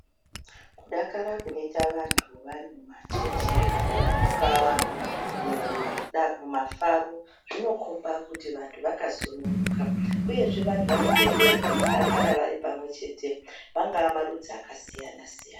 Kudakara kunoite vantu vari mumachechi kana mungava mumafaro, zvinokhomba kuti vantu vakasununguka uyezve vantu vanotenderwa kudakara varipamwechete angaa marudzi akasiyana-siyana.